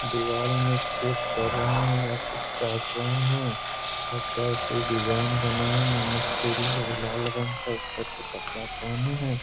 दिवार में छेद कर रहें हैं या कुछ काट रहें हैं लगता है कोई डिजाइन बनाएंगे मिस्त्री लोग लाल रंग का ऊपर से कपड़ा हैं।